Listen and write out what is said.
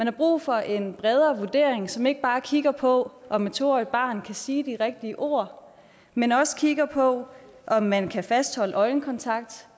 er brug for en bredere vurdering som ikke bare kigger på om et to årig t barn kan sige de rigtige ord men også kigger på om man kan fastholde øjenkontakt